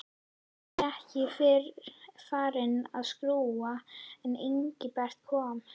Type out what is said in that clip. Mamma var ekki fyrr farin að skúra en Engilbert kom.